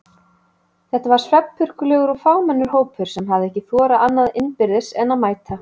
Þetta var svefnpurkulegur og fámennur hópur sem hafði ekki þorað annað innbyrðis en að mæta.